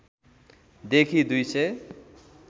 देखि २ सय